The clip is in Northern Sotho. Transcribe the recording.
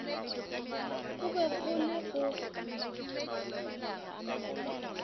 gore go be le go